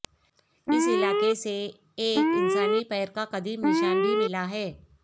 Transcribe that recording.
اس علاقے سے ایک انسانی پیر کا قدیم نشان بھی ملا ہے